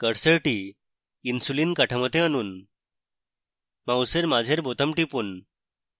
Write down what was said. কার্সারটি insulin কাঠামোতে আনুন: মাউসের মাঝের বোতাম টিপুন